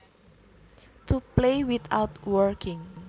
To play without working